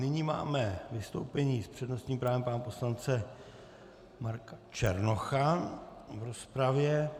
Nyní máme vystoupení s přednostním právem pana poslance Marka Černocha v rozpravě.